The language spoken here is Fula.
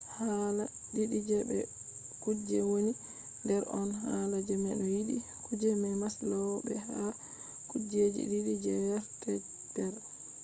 hala didi je be kuje woni der on hala je no be yidi kuje je maslow be hala kujeji didi je hertzberg